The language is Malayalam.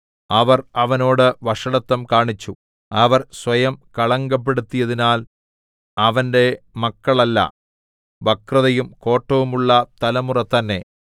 അവർ അവനോട് വഷളത്തം കാണിച്ചു അവർ സ്വയം കളങ്കപ്പെടുത്തിയതിനാൽ അവന്റെ മക്കളല്ല വക്രതയും കോട്ടവുമുള്ള തലമുറ തന്നെ